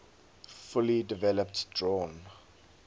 fully developed drawn